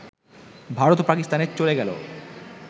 ভারত ও পাকিস্তানে চলে গেল